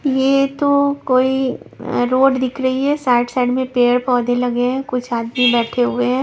ये तो कोई रोड दिख रही है साइड साइड में पेड़ पौधे लगे हैं कुछ आदमी बैठे हुए हैं।